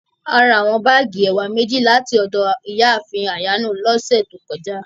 Àrà àwọn báágì ẹ̀wà mẹjì láti ọdọ Iyáàfin Ayano lọsẹ̀ tó kọ̀jà.